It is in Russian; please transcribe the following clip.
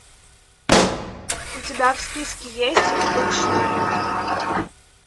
у тебя в списке есть обычные люди